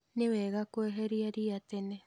Nĩ wega kweheria ria tene